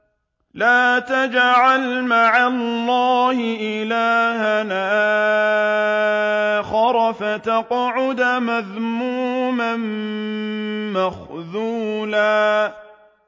لَّا تَجْعَلْ مَعَ اللَّهِ إِلَٰهًا آخَرَ فَتَقْعُدَ مَذْمُومًا مَّخْذُولًا